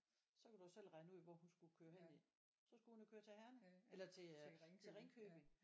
Så kan du jo selv regne ud hvor hun skulle køre hen i. Så skulle hun jo køre til Herning eller til øh til Ringkøbing